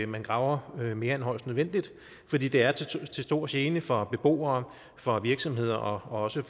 man graver mere end højst nødvendigt fordi det er til stor gene for beboere for virksomheder og også